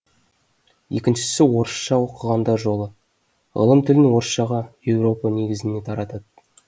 екіншісі орысша оқығандар жолы ғылым тілін орысшаға европа негізіне таратады